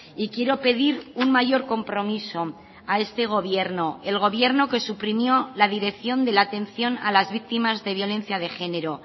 y quiero pedir un mayor compromiso a este gobierno el gobierno que suprimió la dirección de la atención a las víctimas de violencia de género